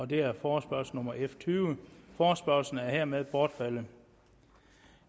det er forespørgsel nummer f tyvende forespørgslen er hermed bortfaldet